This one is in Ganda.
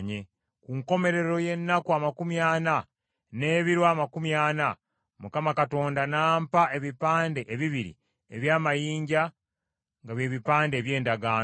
Ku nkomerero y’ennaku amakumi ana n’ebiro amakumi ana Mukama Katonda n’ampa ebipande ebibiri eby’amayinja nga bye bipande eby’endagaano.